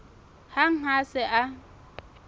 hang ha a se a